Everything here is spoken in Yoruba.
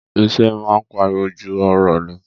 Ìṣe máa ń pariwo ju ọ̀rọ̀ lọ.